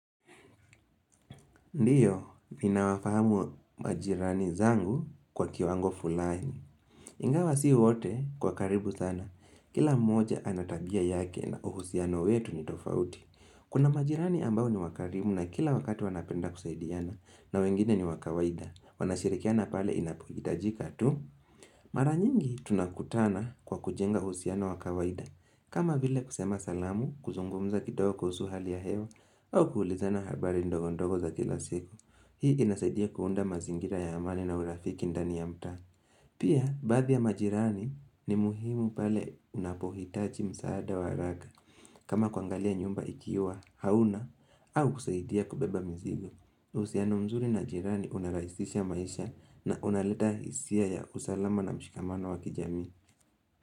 Ndio, ninawafahamu majirani zangu kwa kiwango fulaini. Ingawa si wote kwa karibu sana. Kila mmoja anatabia yake na uhusiano wetu ni tofauti. Kuna majirani ambao ni wakaribu na kila wakati wanapenda kusaidiana. Na wengine ni wa kawaida. Wanashirikiana pale inapohitajika tu. Maranyingi tunakutana kwa kujenga uhusiano wa kawaida. Kama vile kusema salamu, kuzungumza kidogo kuhusu hali ya hewa, au kuulizana habari ndogo ndogo za kila siku. Hii inasaidia kuunda mazingira ya amani na urafiki ndani ya mtaa Pia, baadhi ya majirani ni muhimu pale unapohitaji msaada wa haraka kama kuangalia nyumba ikiwa hauna au kusaidia kubeba mizigo uhusiano mzuri na majirani unarahisisha maisha na unaleta hisia ya usalama na mshikamano wa kijamii.